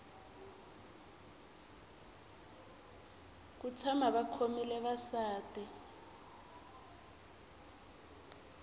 ku tshama va khomile vasati